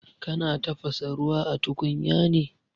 Kana tafasa ruwa a tukunya ne?